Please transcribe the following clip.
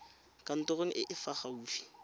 kantorong e e fa gaufi